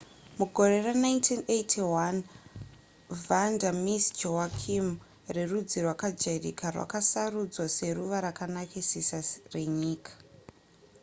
mugore ra1981 vanda miss joaquim rerudzi rwakajairika rakasarudzwa seruva rakanakisisa renyika